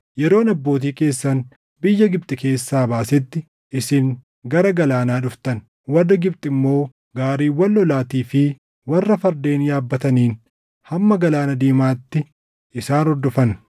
Yeroo ani abbootii keessan biyya Gibxi keessaa baasetti, isin gara galaanaa dhuftan; warri Gibxi immoo gaariiwwan lolaatii fi warra fardeen yaabbataniin hamma Galaana Diimaatti isaan hordofan.